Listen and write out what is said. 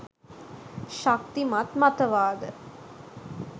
ශක්තිමත් මත වාද